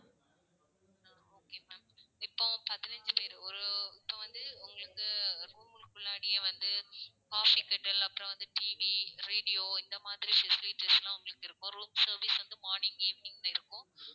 okay ma'am இப்போ பதினைஞ்சு பேரு ஒரு, இப்போ வந்து உங்களுக்கு room க்கு உள்ளாரையே வந்து coffee kettle அப்பறம் வந்து TV radio இந்த மாதிரி facilities லாம் உங்களுக்கு இருக்கும் room service வந்து morning evening ல இருக்கும்.